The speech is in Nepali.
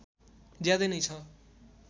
ज्यादै नै छ